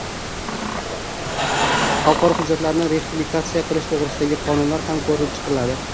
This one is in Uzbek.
Xalqaro hujjatlarni ratifikatsiya qilish to‘g‘risidagi qonunlar ham ko‘rib chiqiladi.